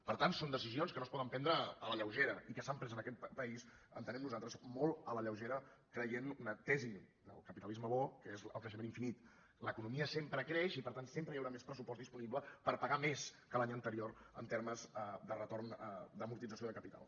per tant són decisions que no es poden prendre a la lleugera i que s’han pres en aquest país entenem nosaltres molt a la lleugera creient una tesi del capitalisme bo que és el creixement infinit l’economia sempre creix i per tant sempre hi haurà més pressupost disponible per pagar més que l’any anterior en termes de retorn d’amortització de capital